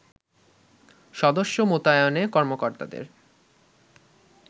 সদস্য মোতায়েনে কর্মকর্তাদের